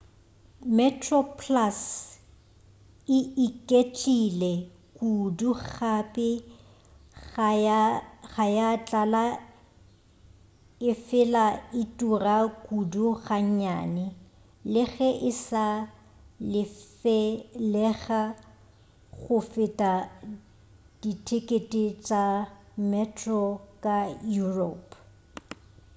metroplus e iketlile kudu gape ga ya tlala efela e tura kudu gannyane le ge e sa lefelega go feta dithekete tša metro ka europe